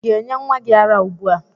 Ị ga-enye nwa gị ara ugbua?